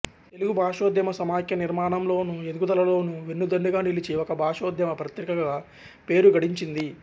తెలుగు భాషోద్యమ సమాఖ్య నిర్మాణంలోను ఎదుగుదలలోను వెన్నుదన్నుగా నిలిచి ఒక భాషోద్యమ పత్రికగా పేరు గడించింది